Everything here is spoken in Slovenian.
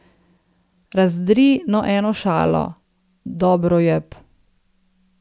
Razdri no eno šalo, Dobrojeb.